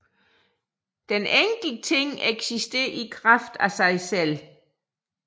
Den enkelte ting eksisterer i kraft af sig selv